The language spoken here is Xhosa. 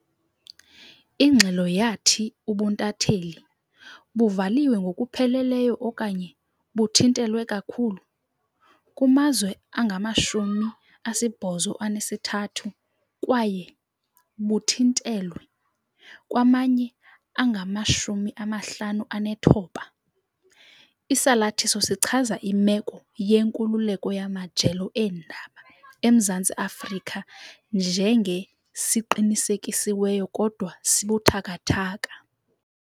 Ingxelo yathi ubuntatheli "buvaliwe ngokupheleleyo okanye buthintelwe kakhulu" kumazwe angama-73 kwaye "buthintelwe" kwamanye angama-59. Isalathiso sichaza imeko yenkululeko yamajelo eendaba eMzantsi Afrika njenge "siqinisekisiweyo kodwa sibuthathaka".